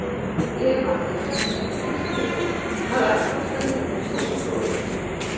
Ég hefi alltaf sagt það, elsku vinur, að allt ástalíf er tómur sóðaskapur.